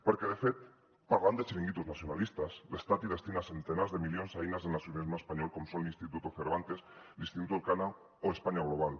perquè de fet parlant de xiringuitos nacionalistes l’estat destina centenars de milions a eines del nacionalisme espanyol com són l’instituto cervantes l’instituto elcano o españa global